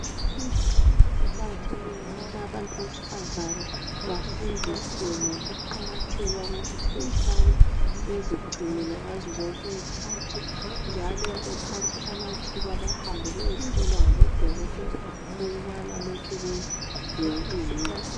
Kuqakathekile ukubana abantu besifazana Bafundiswe ngokuqakatheka kukuthi kumele behlale bezingcinile ngazo zonke izikhathi njalo bethathe amathuba behambe bayehlolwa ngabo dokotela ukubana lokhe be helithi yini